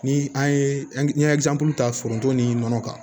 Ni an ye ta foronto ni nɔnɔ kan